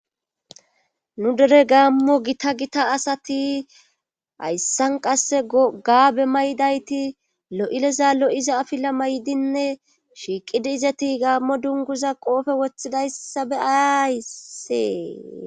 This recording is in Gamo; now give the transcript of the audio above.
Nu dere gaammo gita gita asati hayssan qasse gaabe mayidayti lo'iza lo'iza afila mayidinne shiiqidi izeti gaammo dunguza qoobe woththida issa be'ayayis.